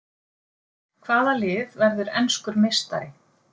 Hvaða lið verður enskur meistari?